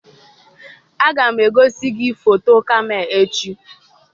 Aga m egosi gị foto kamel echi.